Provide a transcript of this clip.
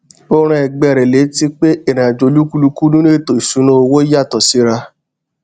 ó rán ẹgbé rẹ létí pé ìrìnàjò olúkúlùkù nínú ètò ìṣúnná owó yàtọ síra